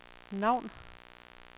navn